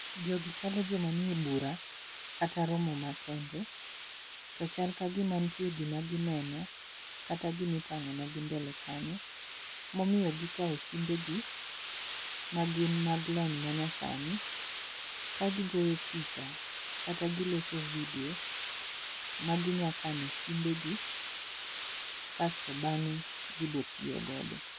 Jogi chalo joma nie bura kata romo makende. To chal kagima nitie gima gineno, kata gima itang'onegi mbele kanyo. Momiyo gikawo simbegi magin mag lony manyasani, ka gigoyo picha kata giloso video maginya kane simbegi, kasto bang'e gibotiyogodo.